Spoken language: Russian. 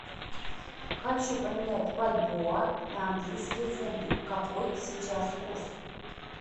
хочу поменять бальбоа на английские фунты какой сейчас курс